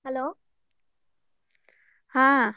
Hello.